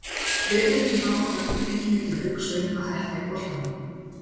Hlutir sem hafa á köflum fengið mig til að hugsa um að hætta í boltanum.